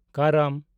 ᱠᱟᱨᱟᱢ